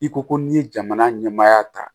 I ko ko n'i ye jamana ɲɛmaya ta